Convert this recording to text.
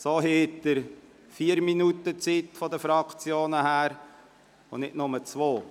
So haben die Fraktionen vier Minuten Zeit und nicht nur zwei.